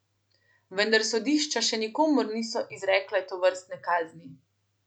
Vendar sodišča še nikomur niso izrekle tovrstne kazni.